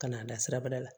Ka n'an da sirabada la